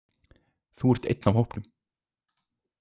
Þú ert einn af hópnum.